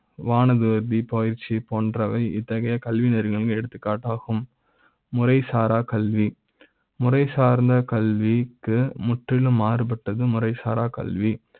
வானது. பி பயிற்சி போன்றவை இத்தகைய கலைஞர்கள் எடுத்துக்காட்டாகும். முறை சாரா கல்வி முறை சார்ந்த கல்வி க்கு முற்றிலு ம் மாறுபட்டது. முறை சாரா கல்வி